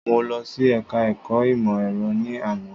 Mo lọ sí ẹka ẹ̀kọ́ ìmọ̀ ẹ̀rọ ní àná.